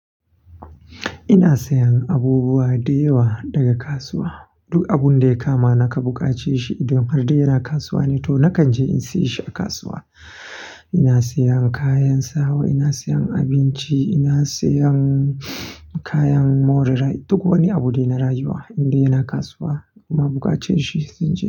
Ina sayan abubuwa da yawa daga kasuwa. Duk abun da ya kama na ka buƙaci shi idan har dai yana kasuwa ne to nakan je in siyo shi a kasuwa. Ina sayan kayan sawa, ina sayan abinci, ina sayan kayan more rai. Duk wani abu da yana rayuwa, inda yana kasuwa kuma buƙaci shi zan je.